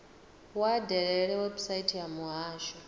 vha dalele website ya muhasho